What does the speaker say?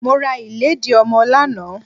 Mo ra ìlédìí ọmọ lánàá.